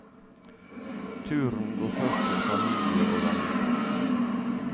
Turen går først til familie og venner.